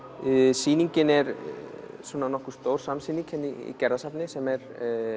sýningin er nokkuð stór samsýning hérna í Gerðarsafni sem er